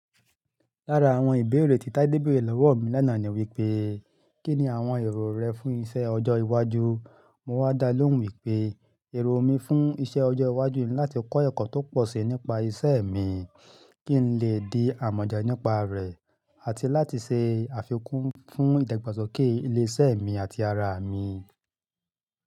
Lára àwọn ìbéèrè tí Tádé béèrè lọ́wọ́ mi lánàá ni wípé, "kí ni àwọn èrò rẹ fún iṣẹ́ ọjọ́ iwájú?" Mọ wá dá lóhùn wípé, èrò mi fún iṣẹ́ ọjọ́ iwájú ni láti kọ́ ẹ̀kọ́ tó pọ̀ si nípa isẹ́ mi, kí n lè di àmọ̀dá nípa rẹ̀, àti láti ṣe àfikún fún ìdàgbàsókè ilé iṣẹ́ mi àti ara mi.